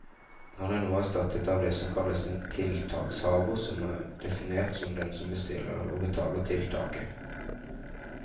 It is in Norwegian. Han er nå erstattet av det som kalles en tiltakshaver, som er definert som den som bestiller og betaler tiltaket.